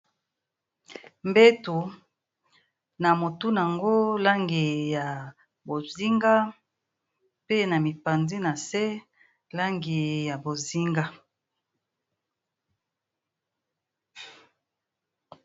Mbeto na motu nango langi ya bonzinga pe na mipanzi na se langi ya bonzinga.